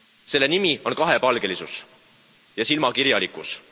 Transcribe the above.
Selle nimi on kahepalgelisus ja silmakirjalikkus!